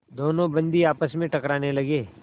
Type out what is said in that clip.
दोनों बंदी आपस में टकराने लगे